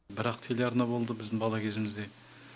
бір ақ телеарна болды біздің бала кезімізде